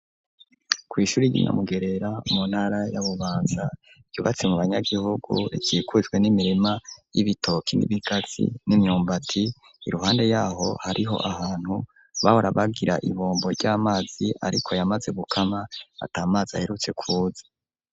Kw'ishure ry'inyamugerera mu ntara yabubaza yubatse mu banyagihugu cikuzwe n'imirima y'ibitoki n'ibikatsi n'imyumbati iruhande yaho hariho ahantu bahora babwira ibombo ry'amazi ariko yamaze gukama atamazi aherutse kuza.